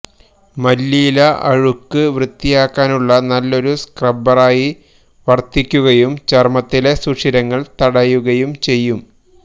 മല്ലിയില അഴുക്ക് വൃത്തിയാക്കാനുള്ള നല്ലൊരു സ്ക്രബ്ബറായി വര്ത്തിക്കുകയും ചര്മ്മത്തിലെ സുഷിരങ്ങള് തടയുകയും ചെയ്യും